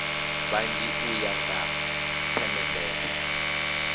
vhanzhi u ya nga themendelo